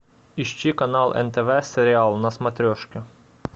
ищи канал нтв сериал на смотрешке